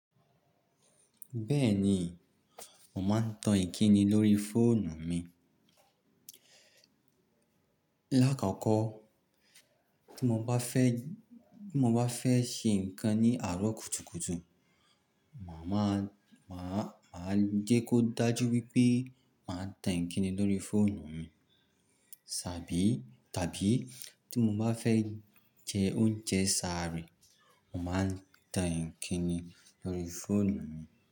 Bẹ́ẹ̀ni, mò máa ń tan ìkíni lórí fóònù mi. Lá kokọ́, tí mo bá fẹ́, tí mo bá fẹ́ ṣe nǹkan ní àárọ̀ kùtùkùtù, màá má, màá, màá jẹ́ kó dájú wípé màá tan ìkíni lórí fóònù mi. Ṣàbí, tàbí tí mo bá fẹ́ jẹ oúnjẹ sàárè, mò máa ń tan ìkíni lórí fóònù mi.